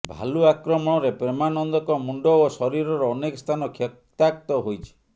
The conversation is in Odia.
ଭାଲୁ ଆକ୍ରମଣରେ ପ୍ରେମାନନ୍ଦଙ୍କ ମୁଣ୍ଡ ଓ ଶରୀରର ଅନେକ ସ୍ଥାନ କ୍ଷତାକ୍ତ ହୋଇଛି